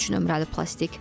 Üç nömrəli plastik.